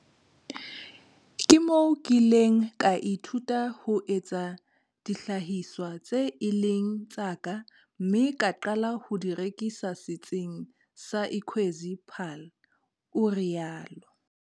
"Ke moo ke ileng ka ithuta ho etsa dihlahiswa tseo e leng tsa ka mme ka qala ho di rekisa Setsing sa Ikwezi Paarl," o rialo.